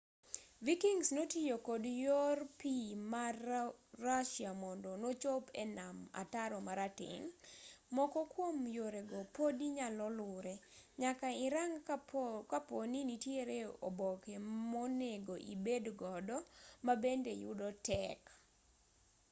vikings notiyo kod yor pii ma rusia mondo nochop e nam ataro marateng' moko kuom yore go podi nyalo lure nyaka irang kaponi nitiere oboke monego ibed godo mabende yudo tek